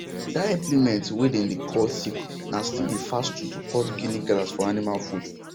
that implement way dem dey call sickle na still the fast tool to cut guinea grass for animal food